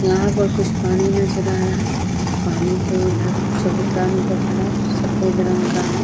यहाँ पर कुछ पानी नजर आ रहा है। पानी के उधर चबूतरा नजर आ रहा है जो सफेद रंग का है।